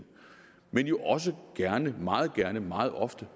men jo også gerne meget gerne meget ofte